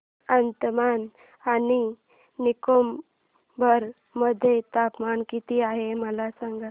आज अंदमान आणि निकोबार मध्ये तापमान किती आहे मला सांगा